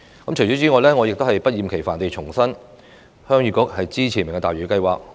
我不厭其煩地重申，鄉議局支持"明日大嶼"計劃。